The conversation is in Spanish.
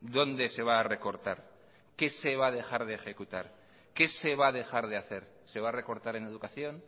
dónde se va a recortar qué se va a dejar de ejecutar qué se va a dejar de hacer se va a recortar en educación